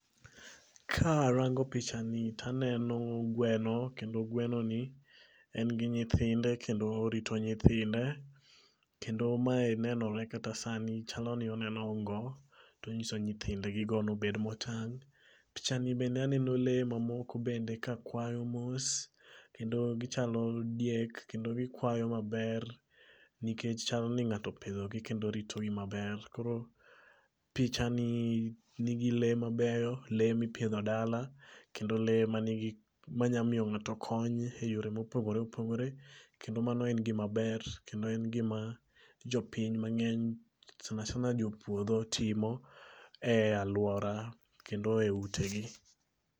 Ka arango pichani taneno gweno, kendo gweno ni en gi nyithinde kendo orito nyithinde. Kendo mae nenore kata sani chaloni oneno ongo, tonyiso nyithind gi go nobed motang'. Pichani bende aneno lee mamoko bende kakwayo mos. Kendo gichalo diek kendo gikwayo maber. Nikech chalni ng'ato opidho gi kendo orito gi maber koro, pichani nigi lee mabeyo, lee mipidho dala, kendo lee ma nigi manyamiyo ng'ato kony heyore mopogore opogore. Kendo mano en gima ber kendo en gima, jopiny mang'eny sanasana jopuodho timo e alwora, kendo e utegi